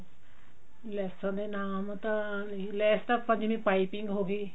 ਲੈਸਾਂ ਦੇ ਨਾਮ ਤਾਂ ਨੀ ਲੈਸ ਤਾਂ ਆਪਾਂ ਜਿਵੇਂ ਪਾਈਪਿੰਨ ਹੋਗੀ